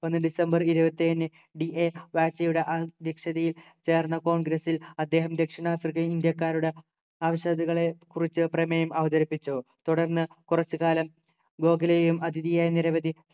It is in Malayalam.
ഒന്ന് ഡിസംബർ ഇരുപത്തി ഏഴിന് DA വാക്സിയുടെ അദ്യക്ഷതയിൽ ചേർന്ന congress ൽ അദ്ദേഹം ദക്ഷിണാഫ്രിക്കയിൽ ഇന്ത്യക്കാരുടെ ആവശ്യകതകളെക്കുറിച്ചു പ്രമേയം അവതരിപ്പിച്ചു തുടർന്ന് കുറച്ചു കാലം ഗോഖലെയെയും അതിഥിയായ നിരവധി